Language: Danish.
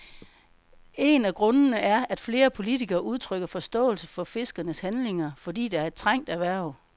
En af grundene er, at flere politikere udtrykker forståelse for fiskernes handlinger, fordi det er et trængt erhverv.